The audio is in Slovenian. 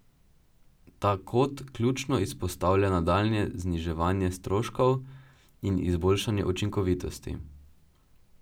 Ta kot ključno izpostavlja nadaljnje zniževanje stroškov in izboljšanje učinkovitosti.